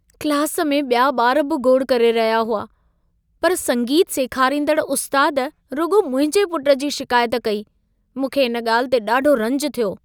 Class में ॿिया ॿार बि गोड़ करे रहिया हुआ। पर संगीत सेखारींदड़ उस्तादु रुॻो मुंहिंजे पुटु जी शिकायत कई। मूंखे इन ॻाल्हि ते ॾाढो रंज थियो।